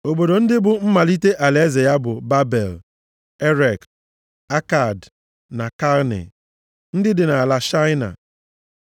Obodo ndị bụ mmalite alaeze ya bụ, Babel, + 10:10 Maọbụ, Babilọn Erek, Akad na Kalne, ndị dị nʼala Shaịna. + 10:10 Shaịna bụ ala Babilọn ochie.